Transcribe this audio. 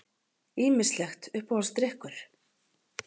Ýmislegt Uppáhaldsdrykkur?